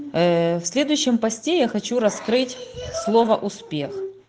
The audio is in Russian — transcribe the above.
ээ в следующем посте я хочу раскрыть слово успех